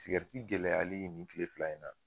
gɛlɛyali nin kile fila in na